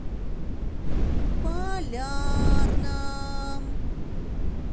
полярном